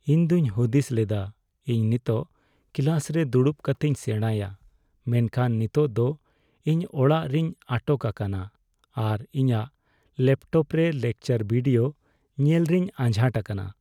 ᱤᱧ ᱫᱚᱧ ᱦᱩᱫᱤᱥ ᱞᱮᱫᱟ ᱤᱧ ᱱᱤᱛᱚᱜ ᱠᱞᱟᱥᱨᱮ ᱫᱩᱲᱩᱵ ᱠᱟᱛᱮᱧ ᱥᱮᱸᱲᱟᱭᱟ, ᱢᱮᱱᱠᱷᱟᱱ ᱱᱤᱛᱚᱜ ᱫᱚ ᱤᱧ ᱚᱲᱟᱜ ᱨᱮᱧ ᱟᱴᱚᱜ ᱟᱠᱟᱱᱟ ᱟᱨ ᱤᱧᱟᱜ ᱞᱮᱯᱴᱚᱯᱨᱮ ᱞᱮᱠᱪᱟᱨ ᱵᱷᱤᱰᱤᱭᱳ ᱧᱮᱞ ᱨᱮᱧ ᱟᱡᱷᱟᱴ ᱟᱠᱟᱱᱟ ᱾